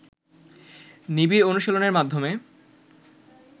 নিবিড় অনুশীলনের মাধ্যমে